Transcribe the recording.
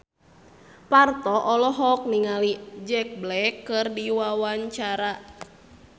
Parto olohok ningali Jack Black keur diwawancara